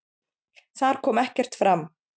Þar kom ekkert fram.